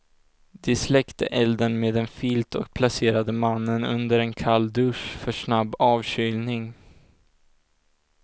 De släckte elden med en filt och placerade mannen under en kall dusch för snabb avkylning.